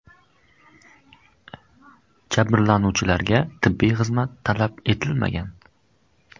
Jabrlanuvchilarga tibbiy xizmat talab etilmagan.